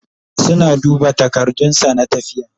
suna duba takardun sa na tafiya